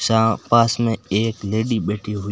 जहां पास में एक लेडी बैठी हुई--